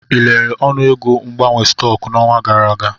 Ị lelere ọnụego mgbanwe stọks n'ọnwa gara aga?